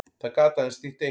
Það gat aðeins þýtt eitt.